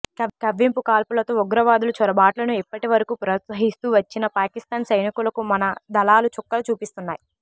కవ్వింపు కాల్పులతో ఉగ్రవాదుల చొరబాట్లను ఇప్పటి వరకూ ప్రోత్సహిస్తూ వచ్చిన పాకిస్తాన్ సైనికులకు మన దళాలు చుక్కలు చూపిస్తున్నాయి